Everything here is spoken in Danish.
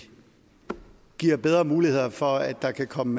vi giver bedre muligheder for at der kan komme